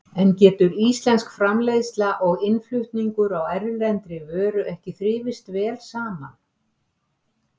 En getur íslensk framleiðsla og innflutningur á erlendri vöru ekki þrifist vel saman?